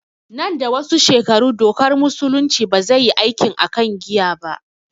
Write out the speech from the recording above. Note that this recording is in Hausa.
Nan da wasu shekaru dokar musulunci ba zai yi aikin akan giya ba